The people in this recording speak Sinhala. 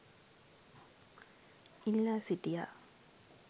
ඉල්ලා සිටියා.